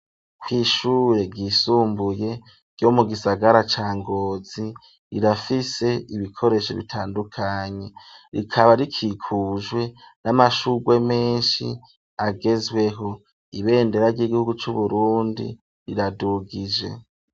Ku ishure ryisumbuye ryo mu gisagara ca Ngozi rirafise ibikoresho bitandukanye rikaba rikikujwe n'amashurwe meshi agezweho ibendera ry'igihugu cu Burundi riradugije